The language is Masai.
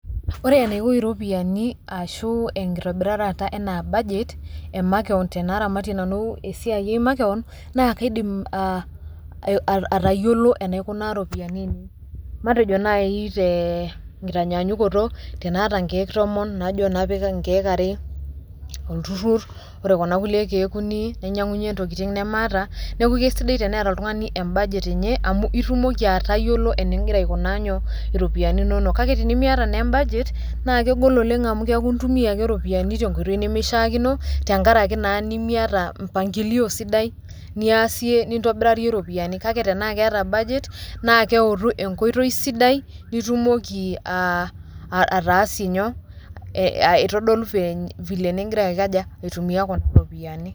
Ore enaiko iropiani ashu enkitobirata ena budget, e makeon tenaramatie nanu esiai ai makeon naa kaidim aa aa atayiolo enaikunaa iropiani ainei matejo nai tee nkitanyanyukuto, tenaata nkeek tomon najo napik nkeek are olturur kore kuna kulie keek uni nainyang'unye ntokitin nemaata. Neeku kesidai eneeta oltung'ani embudget enye amu itumoki atayiolo ening'ira aikunaa nyoo iropiani inonok. Kake tenimiata naa embudget naa kegol oleng' amu keeku intumia ake iropiani te nkoitoi nemishaakino tenkaraki naa nemiata mpangilio sidai niasie nintobirarie ropiani, kake tenaake eeata budget naake eutu e nkoitoi sidai nitumoki aa ataasie nyoo aitodolu veny vile ning'ira aikaja aitumia kuna ropiani.